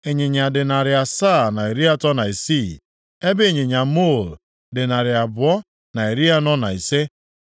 Ịnyịnya dị narị asaa na iri atọ na isii (736), ebe ịnyịnya muul dị narị abụọ na iri anọ na ise (245).